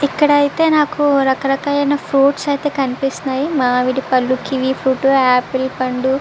ఇక్కడ ఐతే నాకు రక రకాలైన ఫ్రూప్ట్స్ అయితే కనిన్నాయి మామిడి పంళ్లు కివి ఫ్రూట్ ఆపిల్ పండు.